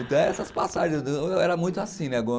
Então, essas passagens, eu era muito assim, né?